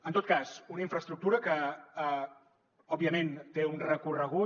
en tot cas una infraestructura que òbviament té un recorregut